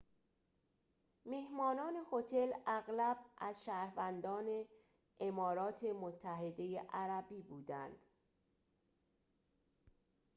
مهمانان هتل اغلب از شهروندان امارات متحده عربی بودند